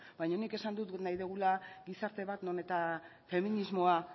baina nik esan dut nahi dugula gizarte bat non eta feminismoa